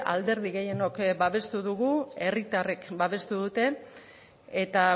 alderdi gehienok babestu dugu herritarrek babestu dute eta